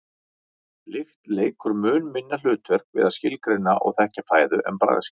lykt leikur mun minna hlutverk við að skilgreina og þekkja fæðu en bragðskyn